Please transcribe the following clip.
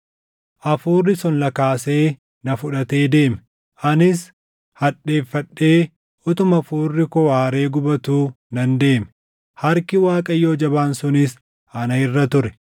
Hafuurris ol na kaasee na fudhatee deeme; anis hadheeffadhee utuma hafuurri koo aaree gubatuu nan deeme; harki Waaqayyoo jabaan sunis ana irra ture.